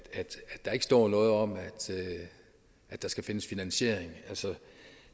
der ikke står noget om at der skal findes finansiering